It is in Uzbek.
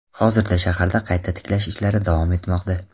Hozirda shaharda qayta tiklash ishlari davom etmoqda .